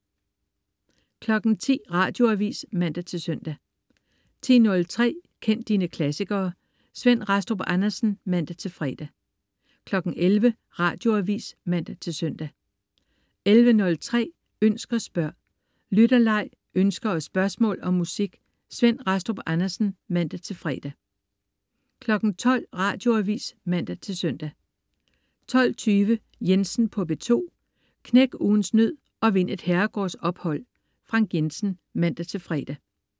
10.00 Radioavis (man-søn) 10.03 Kend dine klassikere. Svend Rastrup Andersen (man-fre) 11.00 Radioavis (man-søn) 11.03 Ønsk og spørg. Lytterleg, ønsker og spørgsmål om musik. Svend Rastrup Andersen (man-fre) 12.00 Radioavis (man-søn) 12.20 Jensen på P2. Knæk ugens nød og vind et herregårdsophold. Frank Jensen (man-fre)